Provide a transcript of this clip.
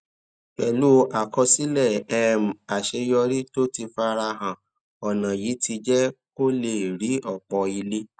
pèlú àkọsílè um àṣeyọrí tó ti fara hàn ònà yìí ti jé kó lè rí òpò ilé